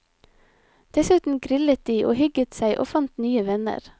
Dessuten grillet de og hygget seg og fant nye venner.